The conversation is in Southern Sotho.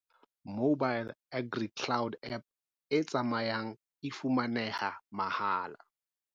Mobile AgriCloud app e tsamayang e fumaneha mahala.